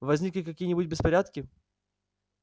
возникли какие-нибудь беспорядки